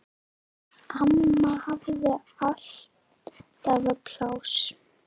Amma hafði alltaf pláss.